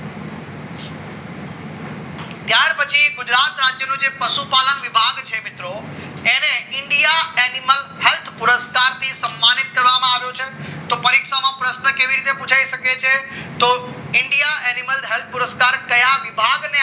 એ ગુજરાત રાજ્યનું પશુપાલન વિભાગ છે મિત્રો એને ઇન્ડિયા એનીમલ થશે પુરસ્કારથી સન્માનિત કરવામાં આવ્યું છે તો પરીક્ષામાં પ્રશ્ન કેવી રીતના પુછાય તો India animal health પુરસ્કાર કયા વિભાગ થી